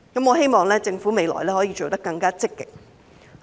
我希望政府未來可以做得更積極。